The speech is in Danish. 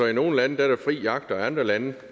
i nogle lande er fri jagt og man i andre lande